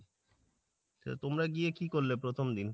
তা তোমরা গিয়ে কি করলে প্রথম দিন?